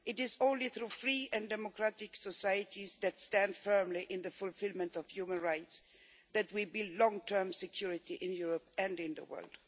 It is only through free and democratic societies that stand firm on the fulfilment of human rights that we will build long term security in Europe and in the world.